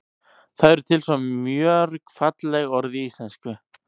það eru til svo mörg falleg orð í íslenksu